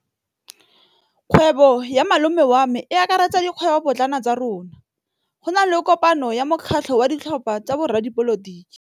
Kgwêbô ya malome wa me e akaretsa dikgwêbôpotlana tsa rona. Go na le kopanô ya mokgatlhô wa ditlhopha tsa boradipolotiki.